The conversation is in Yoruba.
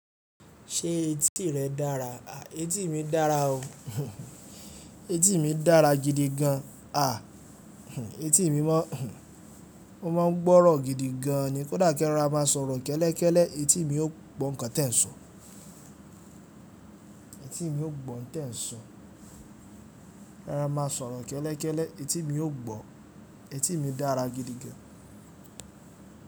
Ṣé etí rẹ dára? À etí mi dára o. Etí mi dára gidi gan. À etí mi mọ́ ó mọ́ han ń gbọ́rọ̀ gidi gan an ni. Kódà kẹ rọra máa sọ̀rọ̀ kẹ́lẹ́kẹ́lẹ́, etí mi ó gbọ́ nǹkan tẹ́ẹ̀ ń sọ̀. Etí mi ó gbọ́ hun tẹ́ẹ̀ ń sọ. Ara máa sọ̀rọ̀ kẹ́lẹ́kẹ́lẹ́, etí mi ó gbọ́. Etí mi dára gidi gan.